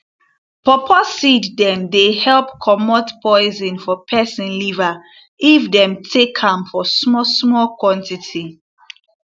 pawpaw seed dem dey help comot poison for peson liver if dem take am for small small quantity